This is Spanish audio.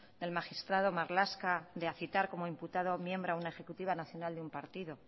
del magistrado marlaska de citar como imputado a un miembro a una ejecutiva nacional de un partido